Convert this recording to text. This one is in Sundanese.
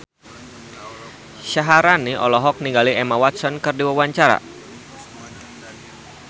Syaharani olohok ningali Emma Watson keur diwawancara